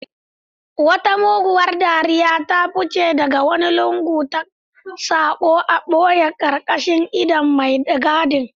Wata muguwar dariya ta fice daga wani lungu da sako a boye karkashin idon mai gadin.